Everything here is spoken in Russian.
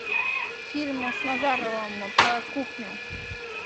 фильмы с назаровым про кухню